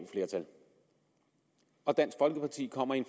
flertal og dansk folkeparti kommer i en